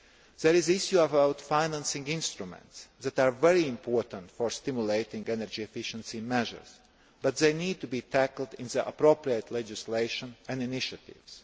There is the issue of financing instruments that are very important for stimulating energy efficiency measures, but these need to be tackled in the appropriate legislation and initiatives.